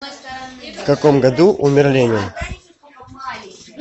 в каком году умер ленин